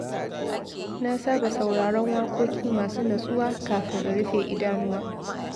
Na saba sauraron waƙoƙi masu natsuwa kafin in rufe idanuwa.